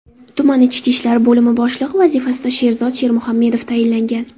Tuman ichki ishlar bo‘limi boshlig‘i vazifasiga Sherzod Shermuhamedov tayinlangan.